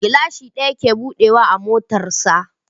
Gilashin ɗaya ke buɗe wa a motar sa